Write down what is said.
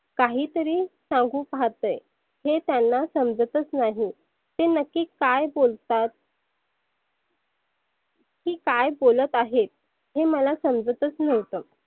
काही तरी सांगु पाहतय. हे त्यांना समजतच नाही. ते नक्की काय बोलतात? की काय बोलत आहेत हे मला समजतच नव्हतं.